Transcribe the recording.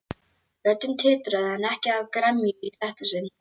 Röddin titraði en ekki af gremju í þetta sinn.